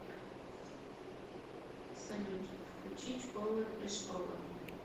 салют включить повер ис повер